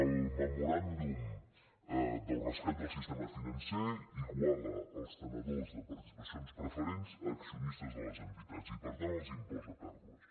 el memoràndum del rescat del sistema financer iguala els tenidors de participacions preferents a accionistes de les entitats i per tant els imposa pèrdues